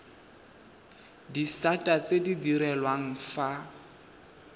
disata tse di direlwang fa